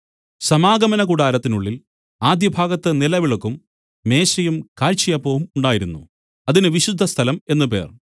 സമാഗമനകൂടാരത്തിനുള്ളിൽ ആദ്യഭാഗത്ത് നിലവിളക്കും മേശയും കാഴ്ചയപ്പവും ഉണ്ടായിരുന്നു അതിന് വിശുദ്ധസ്ഥലം എന്നു പേർ